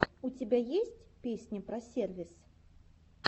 у тебя есть песня про сервис